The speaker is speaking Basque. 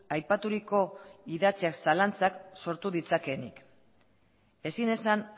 aipaturiko idatziak zalantzak sortu ditzakeenik ezin esan